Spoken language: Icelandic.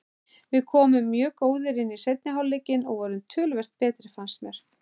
Við komum mjög góðir inn í seinni hálfleikinn og vorum töluvert betri fannst mér.